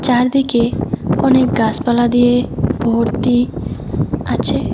চারদিকে অনেক গাছপালা দিয়ে ভর্তি আছে।